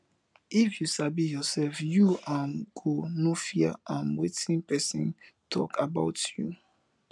if yu sabi ursef yu um go no fear um wetin pesin tok about yu